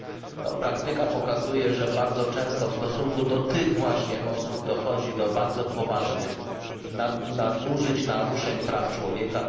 Otóż praktyka pokazuje, że bardzo często w stosunku do tych właśnie osób dochodzi do bardzo poważnych naruszeń i nadużyć praw człowieka.